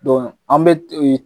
Don an bɛ t